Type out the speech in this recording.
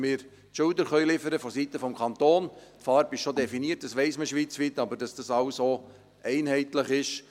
Die Farbe ist bereits definiert, schweizweit, damit das alles auch einheitlich ist.